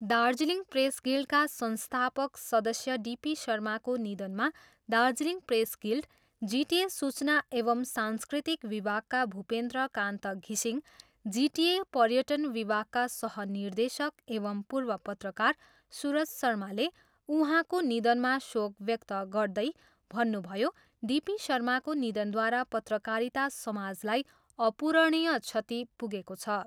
Darjeeling press गिल्डका संस्थापक सदस्य डिपी शर्माको निधनमा दार्जिलिङ प्रेस गिल्ड, जिटिए सूचना एवम् सांस्कृतिक विभागका भूपेन्द्र कान्त घिसिङ, जिटिए पर्यटन विभागका सह निर्देशक एवम् पूर्व पत्रकार सूरज शर्माले उहाँको निधनमा शेक व्यक्त गर्दै भन्नुभयो, डि पी शर्माको निधनद्वारा पत्रकारिता समाजलाई अपूरणीय क्षति पुगेको छ।